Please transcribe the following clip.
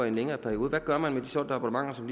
en længere periode hvad gør man ved de solgte abonnementer som